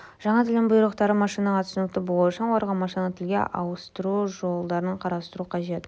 жаңа тілдің бұйрықтары машинаға түсінікті болу үшін оларды машиналық тілге ауыстыру жолдарын қарастыру қажет